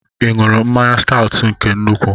Ị ṅụrụ mmanya Staut nke nnukwu?